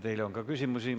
Teile on küsimusi.